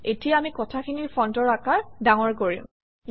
এতিয়া আমি কথাখিনিৰ ফণ্টৰ আকাৰ ডাঙৰ কৰিম